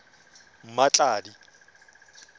mmatladi